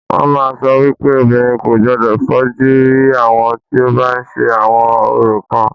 Wọ́n màá ń sọ wípé obìnrin kò gbodò fojú rí àwọn tí o bá ń ṣe àwọn orò kan.